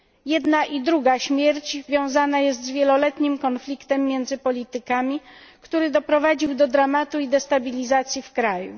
Jedna i druga śmierć wiązana jest z wieloletnim konfliktem między politykami, który doprowadził do dramatu i destabilizacji w kraju.